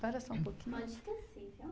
Para só um pouquinho. Pode tossir, viu?